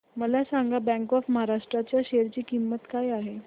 मला सांगा bank of Maharashtra च्या शेअर ची किंमत काय आहे